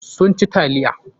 Sun ci taliya.